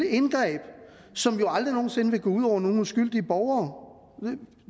indgreb som jo aldrig nogen sinde ville gå ud over nogen uskyldige borgere